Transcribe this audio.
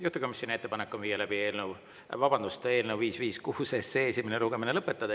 Juhtivkomisjoni ettepanek on eelnõu 556 esimene lugemine lõpetada.